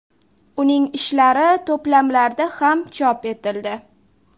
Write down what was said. Uning ishlari to‘plamlarda ham chop etildi.